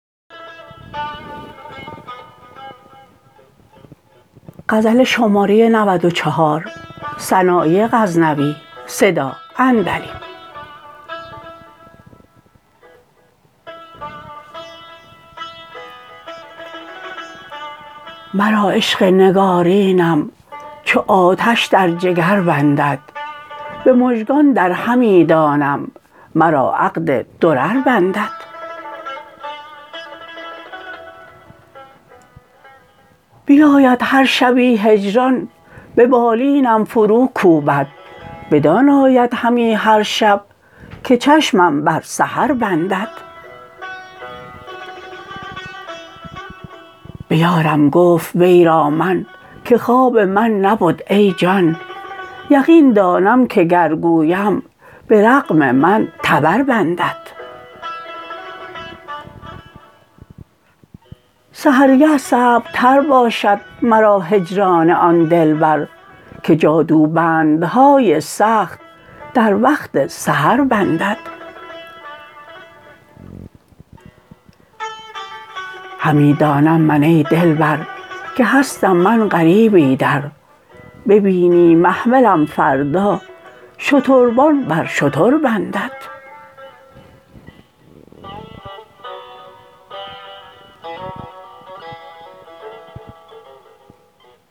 مرا عشق نگارینم چو آتش در جگر بندد به مژگان در همی دانم مرا عقد درر بندد بیاید هر شبی هجران به بالینم فرو کوبد بدان آید همی هر شب که چشمم بر سهر بندد به یارم گفت وی را من که خواب من نبد ای جان یقین دانم که گر گویم به رغم من تبر بندد سحرگه صعب تر باشد مرا هجران آن دلبر که جادو بندهای سخت در وقت سحر بندد همی دانم من ای دلبر که هستم من غریب ایدر ببینی محملم فردا شتربان بر شتر بندد